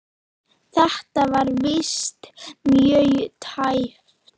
Þetta var víst mjög tæpt.